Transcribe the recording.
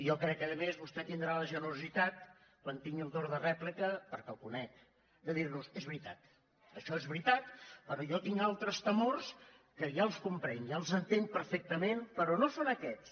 jo crec a més que vostè tindrà la generositat quan tingui el torn de rèplica perquè el conec de dir nos és veritat això és veritat però jo tinc altres temors que ja els comprenc ja els entenc perfectament però no són aquests